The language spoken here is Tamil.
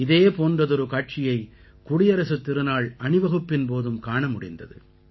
இதே போன்றதொரு காட்சியை குடியரசுத் திருநாள் அணிவகுப்பின் போதும் காண முடிந்தது